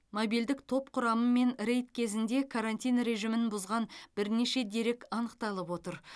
мобильдік топ құрамымен рейд кезінде карантин режимін бұзған бірнеше дерек анықталып отыр